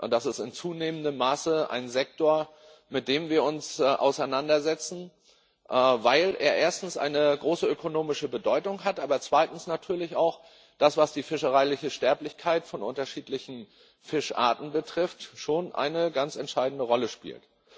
Das ist in zunehmendem Maße ein Sektor, mit dem wir uns auseinandersetzen, weil er erstens eine große ökonomische Bedeutung hat, aber zweitens natürlich auch die fischereiliche Sterblichkeit von unterschiedlichen Fischarten eine ganz entscheidende Rolle spielt.